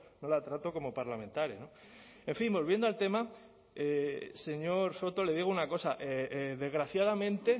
no la trato como parlamentaria en fin volviendo al tema señor soto le digo una cosa desgraciadamente